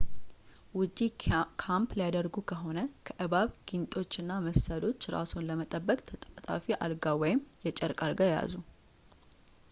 ውጪ ካምፕ ሊያደርጉ ከሆነ ከእባብ ጊንጦች እና መሰሎች ራስዎን ለመጠበቅ ተጣጣፊ አልጋ ወይም የጨርቅ አልጋ ይያዙ